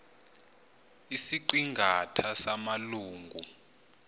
isiqi ngatha samalungu